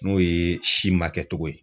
N'o ye si ma kɛcogo ye.